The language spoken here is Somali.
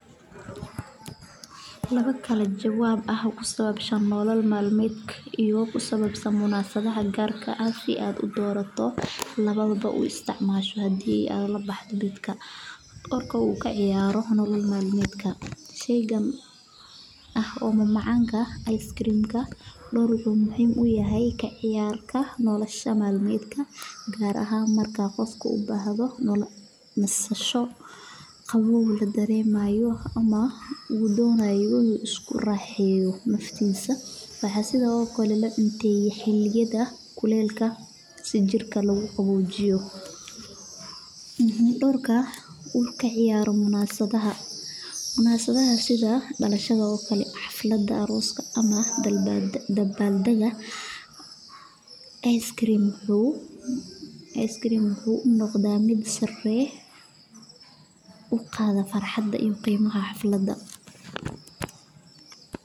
Laabaa kala jawaab aha ku sabab shan noolal maalmeedka iyo ku sababsan munasadaha gaarka ah si aad u doorato. Labaadaba uu isticmaashu haddii aad la baxdo bidhka. Dhawr ka wuu ka ciyaaro nolol maalmeedka? Sheyga ah oo mamacamka ice cream ka dhul muhiim u yahay ka ciyaar ka nolosha maalmeedka gaar aha markaa qofku u baahato nolosha masasho qaboob la dareemayo ama uu doonayo isu raaxeeyo naftiisa. Waxaa sida oo kala laba intay xilliyada kuleelka si jirka lagu qawojiyo. Dhawrka uu ka ciyaaro munasabaha munasabaha sida dhalashaga oo kale xafaladda arooska ama dalbaad dabbaaldaga. ice cream wuxuu noqda mid sare u qaadna farxadda iyo qiimaha xafaladda.